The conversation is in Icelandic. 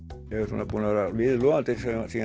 svona búinn að vera viðloðandi